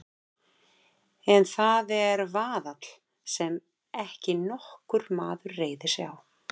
En það er vaðall sem ekki nokkur maður reiðir sig á.